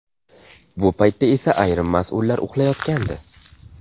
Bu paytda esa ayrim mas’ullar uxlayotgandi.